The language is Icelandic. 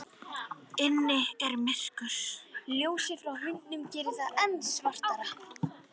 Inni er myrkur, ljósið frá hundinum gerir það enn svartara.